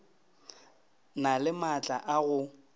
na le maatla a go